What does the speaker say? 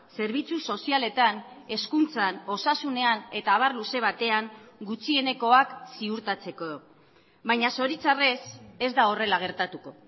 zerbitzu sozialetan hezkuntzan osasunean eta abar luze batean gutxienekoak ziurtatzeko baina zoritxarrez ez da horrela gertatuko